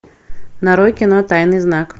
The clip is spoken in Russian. нарой кино тайный знак